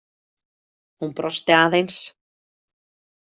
Hún brosti aðeins.